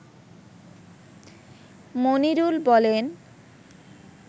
মনিরুল বলেন